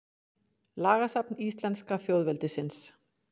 Lagasafn íslenska þjóðveldisins.